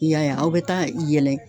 I y'a ye a ,aw be taa yɛlɛ